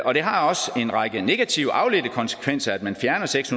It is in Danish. og det har også en række negative afledte konsekvenser at man fjerner seks